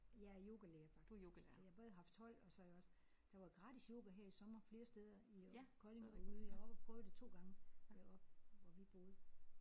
Jeg er yogalærer faktisk så jeg har både haft hold og så har jeg også der var gratis yoga her i sommer flere steder i øh Kolding og ude i jeg var oppe at prøve 2 gange deroppe hvor vi boede